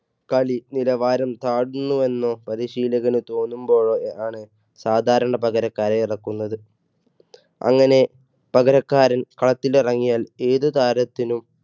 കളി നിലവാരം താഴ്ന്നു എന്ന് പരിശീലകന് തോന്നുമ്പോഴോ ആണ് സാധാരണ പകരക്കാരെ ഇറക്കുന്നത്. അങ്ങനെ പകരക്കാരൻ കളത്തിൽ ഇറങ്ങിയാൽ ഏതു താരത്തിനും